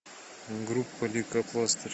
группа лейкопластырь